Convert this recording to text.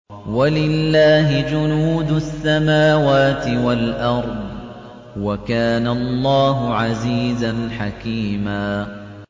وَلِلَّهِ جُنُودُ السَّمَاوَاتِ وَالْأَرْضِ ۚ وَكَانَ اللَّهُ عَزِيزًا حَكِيمًا